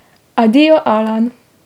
Adijo, Alan!